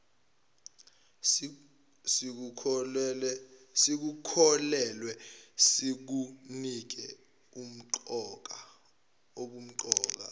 sikukholelwe sikunike ubumqoka